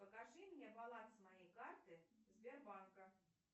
покажи мне баланс моей карты сбербанка